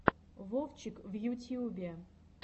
вовчик в ютьюбе